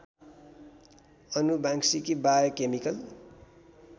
आनुवांशिकी biochemical